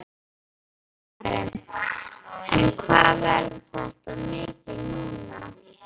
Karen: En hvað verður þetta mikið núna?